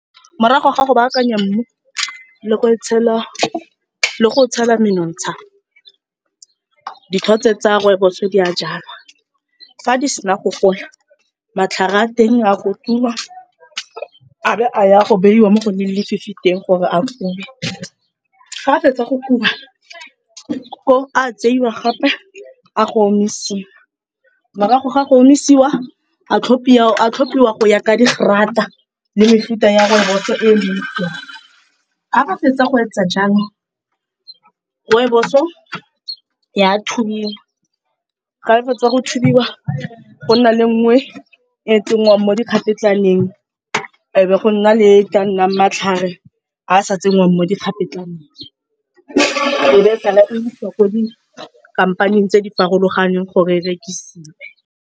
Morago ga go baakanya mmu le go otshela menontsha, dithotse tsa rooibos-o di a jalwa. Fa di sena go gola matlhare a teng a kotulwa a be a ya go beiwa mo go leng lefifi teng gore a kube, ga a fetsa go kuba a tseiwa gape a go omisiwa. Morago ga go omisiwa a tlhophiwa go ya ka digrata le mefuta ya rooibos-o e leng teng. Ga ba fetsa go etsa jalo rooibos-o ya thubiwa, ga e fetsa go thubiwa go nna le e nngwe e tsenngwang mo dikgapetlaneng e be go nna le e tla nnang matlhare a sa tsenngwang mo dikgapetlaneng, e be sala e isiwa ko dikhampanang tse di farologaneng gore e rekisiwe.